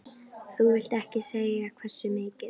Þú vilt ekkert segja hversu mikið?